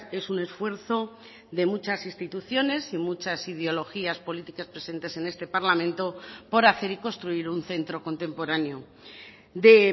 es un esfuerzo de muchas instituciones y muchas ideologías políticas presentes en este parlamento por hacer y construir un centro contemporáneo de